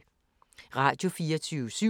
Radio24syv